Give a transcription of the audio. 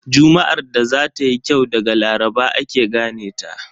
Juma'ar da za tayi kyau daga Laraba ake gane ta.